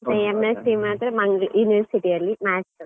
ಮಾತ್ರ ಮಂಗಳೂರು University ಅಲ್ಲಿ, Maths .